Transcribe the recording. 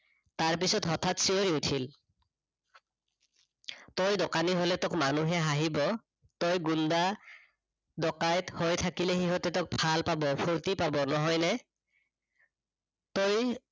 তাৰ পিছত হঠাৎ চিঞৰি উঠিল, তই দোকানী হলে তোক মানুহে হাঁহিব, তই গুন্দা ডকাইত হৈ থাকিলে সিহঁতে তোক ভাল পাব, ফূৰ্তি পাব নহয় নে? তই